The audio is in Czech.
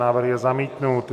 Návrh je zamítnut.